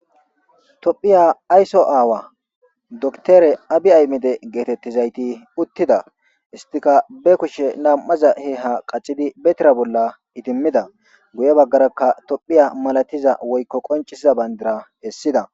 Tophiya aysso aawa doktere abi aymide geetettizayti uttida istika be k.ushe nam'aza he ha qacidi betira bolla itimmida guye baggarakka tophiya malatiza woykko qoncisiza bayndira hessida.